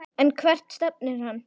En hvert stefnir hann?